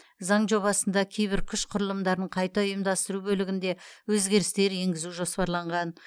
заң жобасында кейбір күш құрылымдарын қайта ұйымдастыру бөлігінде өзгерістер енгізу жоспарланған